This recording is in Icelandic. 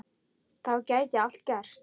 Þá gæti allt gerst.